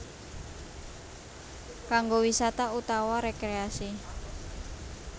Kanggo wisata utawa rekreasi